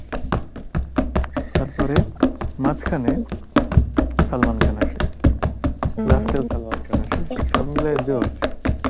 তারপরে মাঝখানে সালমান খান আসে, last এ ও সালমান খান আসে, সবমিলিয়ে সব মিলিয়ে